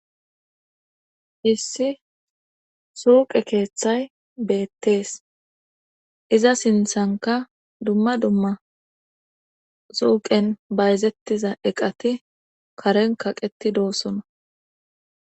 Issi suuqe keeththay beettees iza sinthanka dumma dumma suuqen bayzettiza eqati karen kaqeti doosona.